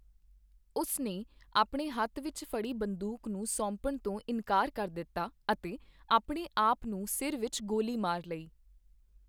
ਉਸ ਨੇ ਆਪਣੇ ਹੱਥ ਵਿੱਚ ਫੜੀ ਬੰਦੂਕ ਨੂੰ ਸੌਪਣ ਤੋਂ ਇਨਕਾਰ ਕਰ ਦਿੱਤਾ ਅਤੇ ਆਪਣੇ ਆਪ ਨੂੰ ਸਿਰ ਵਿੱਚ ਗੋਲੀ ਮਾਰ ਲਈ।